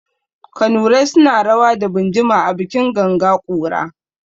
Kanurai suna rawa da binjima a bikin ganga ƙura.